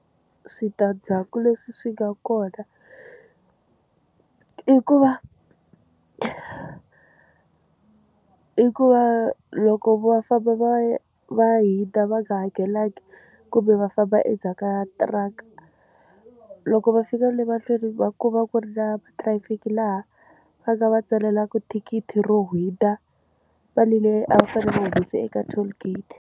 Switandzhaku leswi swi nga kona i ku va i ku va loko va famba va va hindza va nga hakelangiki kumbe va famba endzhaku ka tiraka loko va fika le mahlweni va ku va ku ri na traffic laha va nga va tsalela ku thikithi ro hindza u fanele a va fanele va humese eka toll gate.